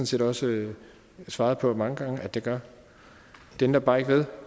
set også svaret på mange gange at det gør det ændrer bare ikke ved